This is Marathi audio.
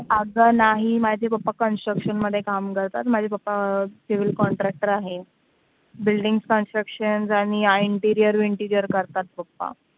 अगं नाही माझे papa construction मध्ये काम करतात माझे अं papa civil contractor आहे building constructions आणि interior करतात papa